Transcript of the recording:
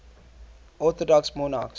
orthodox monarchs